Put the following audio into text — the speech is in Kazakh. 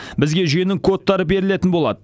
бізге жүйенің кодтары берілетін болады